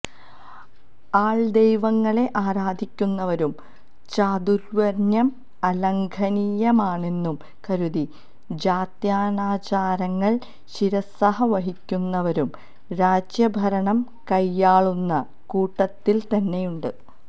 ആള്ദൈവങ്ങളെ ആരാധിക്കുന്നവരും ചാതുര്വര്ണ്യം അലംഘനീയമാണെന്നു കരുതി ജാത്യാനാചാരങ്ങള് ശിരസ്സാവഹിക്കുന്നവരും രാജ്യഭരണം കൈയാളുന്ന കൂട്ടത്തില്തന്നെയുണ്ട്